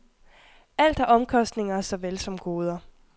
Alt har omkostninger såvel som goder.